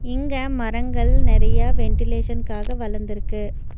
இங்க மரங்கள் நெறையா வென்டிலேஷன்காக வளந்துருக்கு.